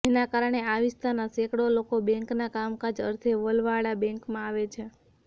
જેના કારણે આ વિસ્તારના સેંકડો લોકો બેંકના કામકાજ અર્થે વલવાડા બેંકમાં આવે છે